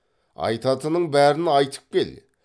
айтатынның бәрін айтып кел